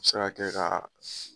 Se ka kɛ kaa